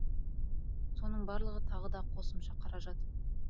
соның барлығы тағы да қосымша қаражат